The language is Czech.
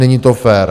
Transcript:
Není to fér.